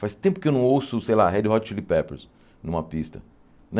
Faz tempo que eu não ouço, sei lá, Red Hot Chili Peppers numa pista né.